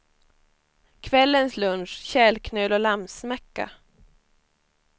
Kvällens lunch, tjälknöl och lammsmäcka.